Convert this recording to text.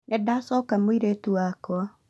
Nĩndacoka mũirĩtu wakwa